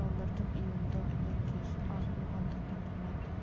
металдардың иондану энергиясы аз болғандықтан олардың